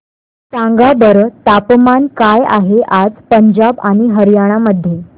सांगा बरं तापमान काय आहे आज पंजाब आणि हरयाणा मध्ये